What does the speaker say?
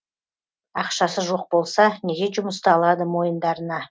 ақшасы жоқ болса неге жұмысты алады мойындарына